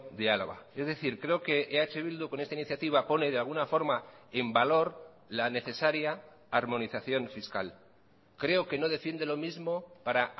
de álava es decir creo que eh bildu con esta iniciativa pone de alguna forma en valor la necesaria armonización fiscal creo que no defiende lo mismo para